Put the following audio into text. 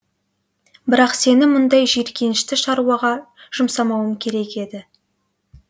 бірақ сені мұндай жиіркенішті шаруаға жұмсамауым керек еді